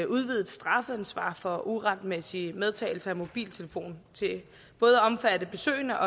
udvidet strafansvar for uretmæssig medtagelse af mobiltelefon til både at omfatte besøgende